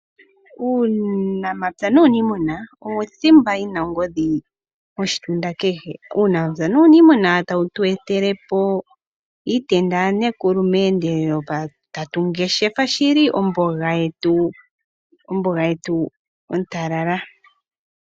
Uunamapya nuuniimuna owo thimba yi na ongodhi koshitunda kehe. Uunamapya nuuniimuna tawu tu etele po iitenda yaNekulu, tatu ngeshefa omboga ontalala.